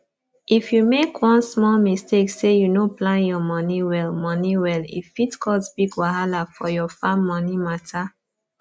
if u make one small mistake say u no plan ur money well money well e fit cause big wahala for ur farm money matter